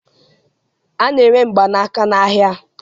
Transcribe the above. A na-ere mgbanaka n'ahịa